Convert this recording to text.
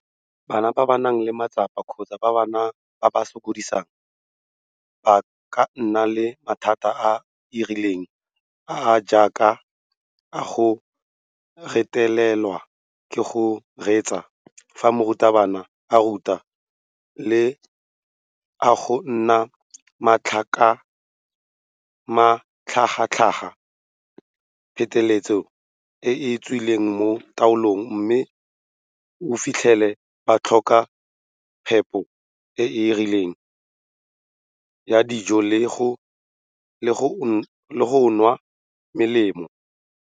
Bana ba ba nang le matsapa kgotsa ba ba sokodisang ba ka nna le mathata a a rileng a a jaaka a go retelelwa ke go reetsa fa morutabana a ruta le a go nna matlhagatlhaga pheteletsa a a tswileng mo taolong mme o fitlhele ba tlhoka phepo e e rileng ya dijo le go nwa melemo.